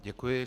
Děkuji.